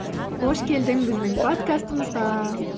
қош келдің біздің подкастымызға